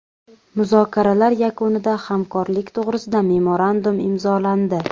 Muzokaralar yakunida hamkorlik to‘g‘risida memorandum imzolandi.